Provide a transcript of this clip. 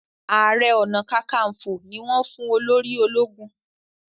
aré ọnà kankanfo ní wón fún olórí ológun.